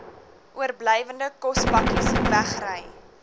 oorblywende kospakkes wegry